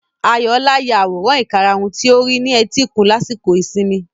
Ayọ̀ọlá ya àwòrán ìkarahun tí ó rí ní etíkun lásìkò ìsinmi.